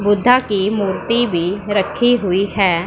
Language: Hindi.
बुद्धा की मूर्ति में रखी हुई है।